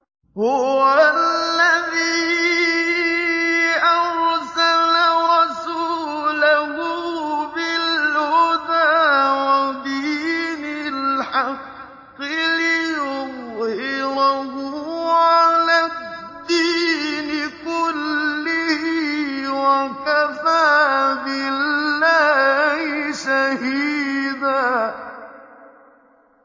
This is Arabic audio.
هُوَ الَّذِي أَرْسَلَ رَسُولَهُ بِالْهُدَىٰ وَدِينِ الْحَقِّ لِيُظْهِرَهُ عَلَى الدِّينِ كُلِّهِ ۚ وَكَفَىٰ بِاللَّهِ شَهِيدًا